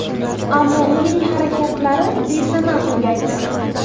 Ammo uning harakatlari besamar tugaydi.